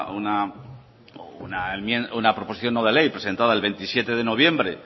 una proposición no de ley presentada el veintisiete de noviembre